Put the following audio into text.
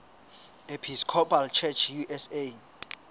episcopal church usa